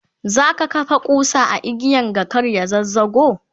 zaka kafa kusa a igiyan ga kar ya zazzago?